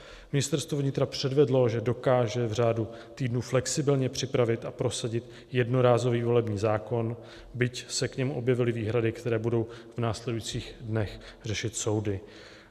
Ministerstvo vnitra předvedlo, že dokáže v řádu týdnů flexibilně připravit a prosadit jednorázový volební zákon, byť se k němu objevily výhrady, které budou v následujících dnech řešit soudy.